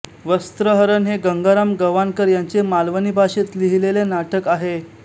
वस्त्रहरण हे गंगाराम गवाणकर यांचे मालवणी भाषेत लिहिलेले नाटक आहे